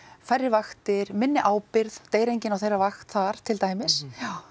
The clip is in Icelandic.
færri vaktir minni ábyrgð deyr enginn á þeirra vakt þar til dæmis